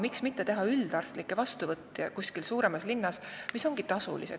Miks mitte aga teha tasuline üldarstlik vastuvõtt kuskil suuremas linnas.